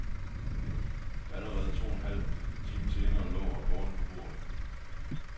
Allerede to en halv time senere lå rapporten på bordet.